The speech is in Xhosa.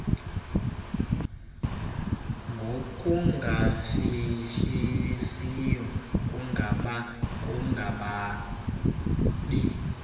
ngokungafihlisiyo kungaba kungabi